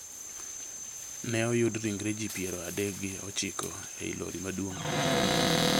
Ne oyudi ringre ji piero adek gi ochiko ei lori maduong'